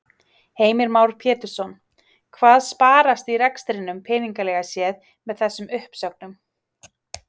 Heimir Már Pétursson: Hvað sparast í rekstrinum peningalega séð með þessum uppsögnum?